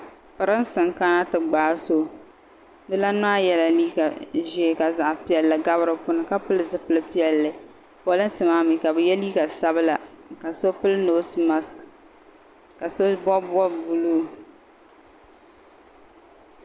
Pirinsi n kana ti gbaagi so di lani maa yɛla liiga ʒee ka zaɣa piɛlli gabi di puuni ka pili zipili piɛlli pirinsi maa mi ka bɛ ye liiga sabla ka pili noosi maksi ka so bɔbi bɔbi buluu.